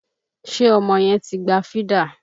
Ṣé ọmọ yẹn ti gba fídà?